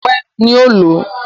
Fọpẹ́ ni ó lòó.